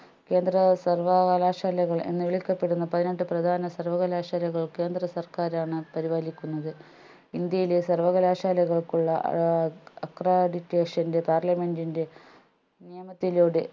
കേന്ദ്ര സർവ്വകലാശാലകൾ എന്ന് വിളിക്കപ്പെടുന്ന പതിനെട്ടു പ്രധാന സർവ്വകലാശാലകൾ കേന്ദ്ര സർക്കാരാണ് പരിപാലിക്കുന്നത് ഇന്ത്യയിലെ സർവ്വകലാശാലകൾക്കുള്ള ഏർ accreditation ൻറെ parliament ൻറെ നിയമത്തിലൂടെ